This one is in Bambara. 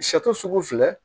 sugu filɛ